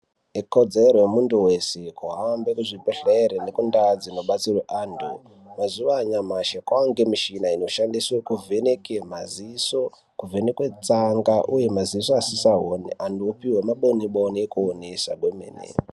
Ikodzero yemuntu wese kuhambe kuzvibhedhlere nendau dzinobatsira antu. Mazuwa anyamashi kwemuchina inoshandiswa kuvheneke maziso kuvhenekwe tsaga uye maziso asingachaoni antu opuwa maboniboni ekuonesa kwemene.